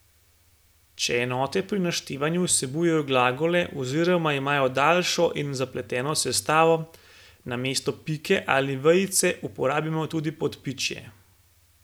Če enote pri naštevanju vsebujejo glagole oziroma imajo daljšo in zapleteno sestavo, namesto pike ali vejice uporabimo tudi podpičje.